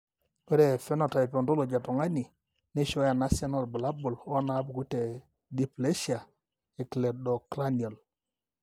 ore ephenotype ontology etung'ani neishooyo enasiana oorbulabul onaapuku tedysplasia ecleidocranial.